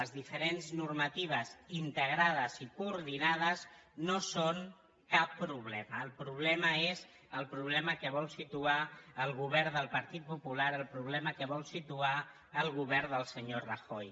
les diferents normatives integrades i coordinades no són cap problema el problema és el problema que vol situar el govern del partit popular el problema que vol situar el govern del senyor rajoy